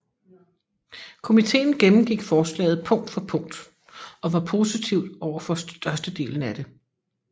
Komiteen gennemgik forslaget punkt for punkt og var positiv overfor størstedelen af det